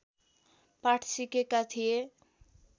पाठ सिकेका थिए